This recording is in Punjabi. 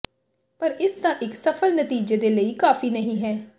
ਪਰ ਇਸ ਦਾ ਇੱਕ ਸਫਲ ਨਤੀਜੇ ਦੇ ਲਈ ਕਾਫ਼ੀ ਨਹੀ ਹੈ